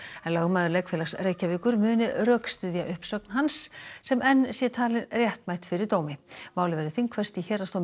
en lögmaður Leikfélags Reykjavíkur muni rökstyðja uppsögn hans sem enn sé talin réttmæt fyrir dómi málið verður þingfest í Héraðsdómi